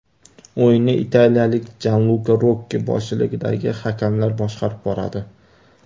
O‘yinni italiyalik Janluka Rokki boshchiligidagi hakamlar boshqarib boradi.